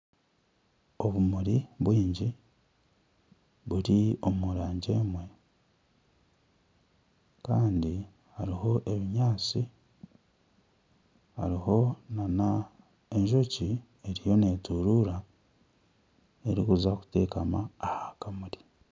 Obumuri bwingi buri omu rangi emwe Kandi hariho ebinyaantsi hariho na enjoki eriyo neyetorora erikuza kutekama aha kamuri.